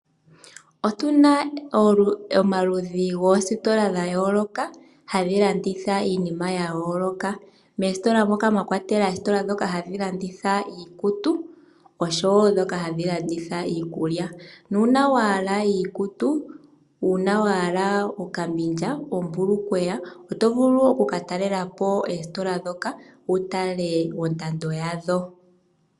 Otuna omaludhi goositola ga yooloka, hadhi landitha iinima ya yooloka. Moositola moka mwa kwatelwa oositola ndhoka hadhi landitha iikutu oshowo ndhoka hadhi landitha iikulya, nuuna wa hala iikutu, uuna wa hala okambilya, ombulukweya oto vulu wo oku ka talela po oositola ndhoka wu tale ondando yadho.